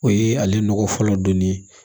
O ye ale nɔgɔ fɔlɔ donnen ye